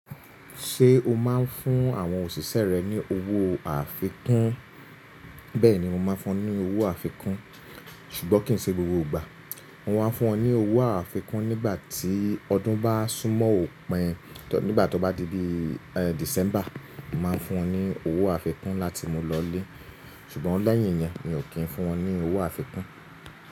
Ṣé o máa ń fún àwọn òṣìṣẹ́ rẹ ní owó àfikún? Bẹ́ẹ̀ni mo máa ń fún wọn ní owó àfikún ṣùgbọ́n kì í ṣe gbogbo ìgbà. Mo máa ń fún wọn ní owó àfikún nígbà tí ọdún bá súnmọ́ òpin nígbà tó bá di bí i December, mo mà á fún wọn ní owó àfikún láti mú wọn lọlé. Ṣùgbọ́n lẹ́yìn iyẹn mi ò kí ń fún wọn ní owó àfikún.